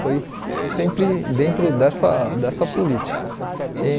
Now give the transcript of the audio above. Foi sempre dentro dessa dessa política. E